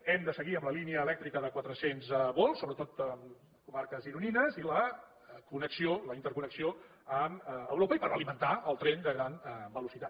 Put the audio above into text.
hem de seguir amb la línia elèctrica de quatre cents volts sobretot a comarques gironines i la connexió la interconnexió amb europa i per alimentar el tren de gran velocitat